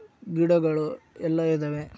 ಗಿಡಗಳು ಎಲ್ಲಾ ಇದಾವೆ --